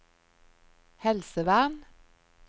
helsevern